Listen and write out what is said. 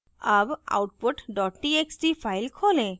अब output dot txt file खोलें